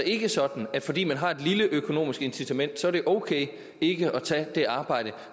ikke sådan at fordi man har et lille økonomisk incitament så er det ok ikke at tage det arbejde